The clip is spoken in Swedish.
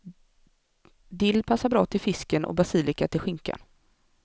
Dill passar bra till fisken och basilika till skinkan.